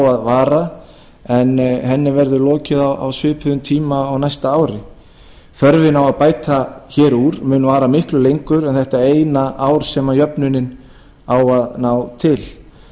að vara en henni verður lokið á svipuðum tíma á næsta ári þörfin á að bæta hér úr mun vara miklu lengur en þetta eina ár sem jöfnunin á að ná til